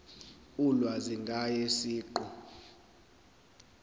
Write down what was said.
ulwazi ngaye siqu